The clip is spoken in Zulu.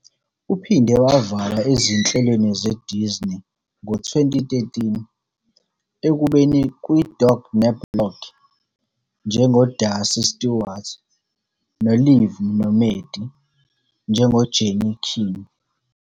Uphinde wavela ezinhlelweni zeDisney ngo-2013, ekubeni "kwiDog ne-Blog" njengoDarcy Stewart "noLiv noMaddie" njengoJenny Keene.